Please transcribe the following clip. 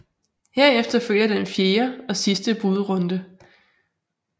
Herefter følger den fjerde og sidste budrunde